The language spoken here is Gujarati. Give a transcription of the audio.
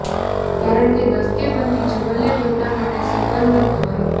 કારણકે દસકે બનતી જવલ્લે ઘટના માટે સોગંદ ન ખવાય